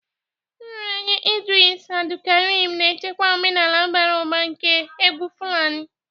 Nraranye Idris Abdulkarim na-echekwa omenala bara ụba nke egwu Fulani.